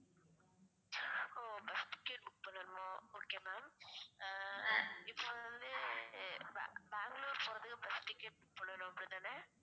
ஒ bus ticket book பண்ணனுமா okay ma'am ஆஹ் இப்ப வந்து பெங்க~ பெங்களூர் போறதுக்கு bus ticket book பண்ணனும் அப்படித்தான